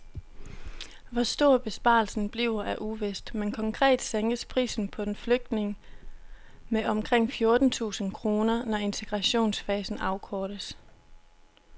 Hvor stor besparelsen bliver er uvist, men konkret sænkes prisen på en flygtning med omkring fjorten tusind kroner, når integrationsfasen afkortes.